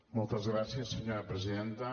moltes gràcies senyora presidenta